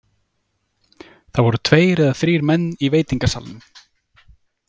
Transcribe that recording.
Það voru tveir eða þrír menn í veitingasalnum.